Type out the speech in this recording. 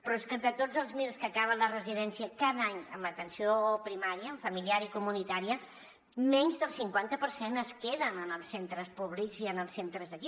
però és que de tots els mirs que acaben la residència cada any en atenció primària en familiar i comunitària menys del cinquanta per cent es queden en els centres públics i en els centres d’aquí